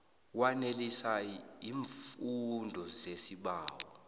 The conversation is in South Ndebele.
wanelisa iimfuno zesibawo